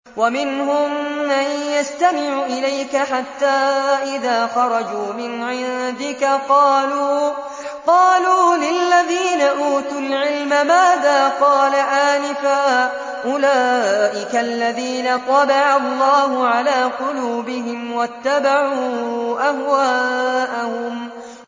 وَمِنْهُم مَّن يَسْتَمِعُ إِلَيْكَ حَتَّىٰ إِذَا خَرَجُوا مِنْ عِندِكَ قَالُوا لِلَّذِينَ أُوتُوا الْعِلْمَ مَاذَا قَالَ آنِفًا ۚ أُولَٰئِكَ الَّذِينَ طَبَعَ اللَّهُ عَلَىٰ قُلُوبِهِمْ وَاتَّبَعُوا أَهْوَاءَهُمْ